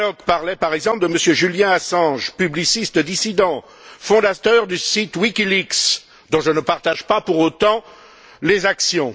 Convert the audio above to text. Tannock parlait, par exemple, de M. Julian Assange, publiciste dissident, fondateur du site WikiLeaks, dont je ne partage pas pour autant les actions.